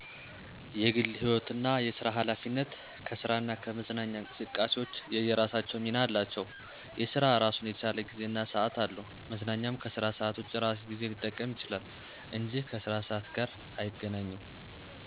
የግል ህይወትና የስራ ሀላፊነት ከስራና ከመዝናኛ እንቅስቃሴዎች የየራሳቸው ሚና አላቸው። የስራ እራሱን የቻለ ጊዜ እና ሰዓት አለው። መዝናኛም ከስራ ሰዓት ውጭ የራሱን ጊዜ ሊጠቀም ይችላል እንጂ ከስራ ሰዓት ጋር አይገናኝም።